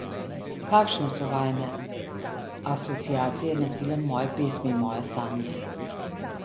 Kakšne so vajine asociacije na film Moje pesmi, moje sanje?